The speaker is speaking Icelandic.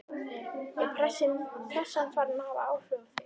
Er pressan farin að hafa áhrif á þá?